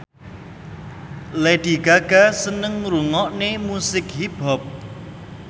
Lady Gaga seneng ngrungokne musik hip hop